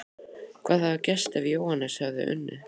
Hvað hefði gerst ef Jóhannes hefði unnið?!